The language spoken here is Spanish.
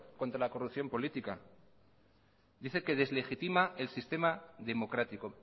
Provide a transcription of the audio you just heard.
contra la corrupción política dice que deslegitima el sistema democrático